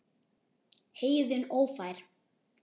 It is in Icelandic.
Heiðin ófær?